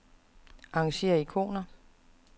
Arrangér ikoner.